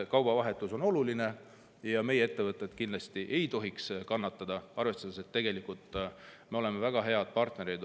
Kaubavahetus on oluline ja kindlasti ei tohiks meie ettevõtted kannatada, arvestades, et tegelikult me oleme olnud Ukrainale väga head partnerid.